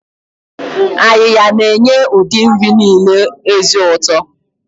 Ayiya na-enye ụdị nri niile ezi ụtọ.